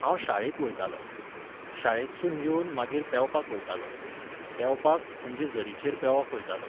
हांव शाळेक वयतालों. शाळेंतसून येवन मागीर पेंवपाक वयतालों. पेंवपाक, म्हणजे झरीचेर पेंवंक वयतालों.